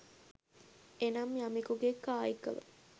එනම් යමෙකුගේ කායිකව